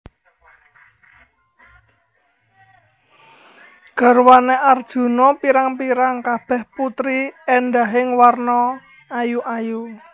Garwané Arjuna pirang pirang kabèh putri éndahing warna ayu ayu